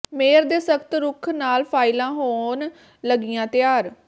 mayor ਦੇ ਸਖ਼ਤ ਰੁਖ ਨਾਲ ਫਾਈਲਾਂ ਹੋਣ ਲੱਗੀਆਂ ਤਿਆਰ